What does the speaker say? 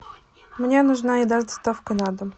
мне нужна еда с доставкой на дом